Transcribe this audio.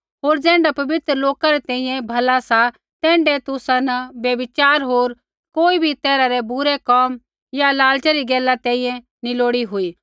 होर ज़ैण्ढा पवित्र लोका री तैईऐ भला सा तैण्ढा तुसा न व्यभिचार होर कोई भी तैरहा रै बुरै कोम या लालचे री गैला तैंईंयैं नैंई लोड़ी हुई